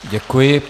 Děkuji.